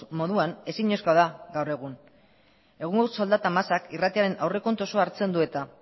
moduan ezinezkoa da gaur egun egungo soldata masak irratiaren aurrekontu osoa hartzen du eta